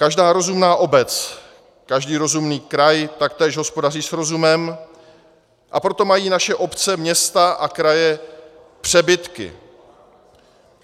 Každá rozumná obec, každý rozumný kraj taktéž hospodaří s rozumem, a proto mají naše obce, města a kraje přebytky.